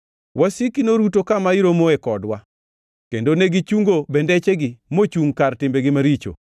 Wasiki noruto kama iromoe kodwa; kendo negichungo bendechegi mochungʼ kar timbegi maricho.